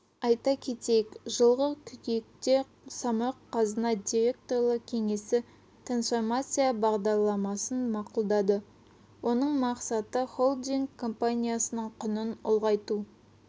айта кетейік жылғы қыркүйекте самұрық-қазына директорлар кеңесі трасформация бағдарламасын мақұлдады оның мақсаты холдинг компаниясының құнын ұлғайту